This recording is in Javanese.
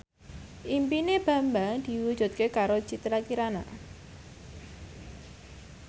impine Bambang diwujudke karo Citra Kirana